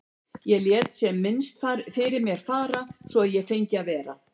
Ég lét sem minnst fyrir mér fara svo að ég fengi að vera.